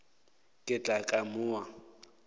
ka tla ka mo a